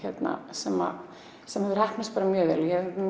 sem sem hefur heppnast mjög vel ég